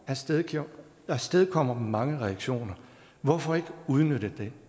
afstedkommer afstedkommer mange reaktioner hvorfor ikke udnytte det